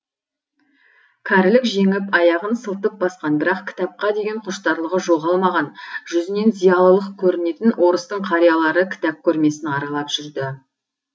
кәрілік жеңіп аяғын сылтып басқан бірақ кітапқа деген құштарлығы жоғалмаған жүзінен зиялылық көрінетін орыстың қариялары кітап көрмесін аралап жүрді